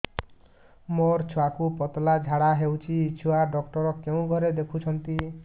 ମୋର ଛୁଆକୁ ପତଳା ଝାଡ଼ା ହେଉଛି ଛୁଆ ଡକ୍ଟର କେଉଁ ଘରେ ଦେଖୁଛନ୍ତି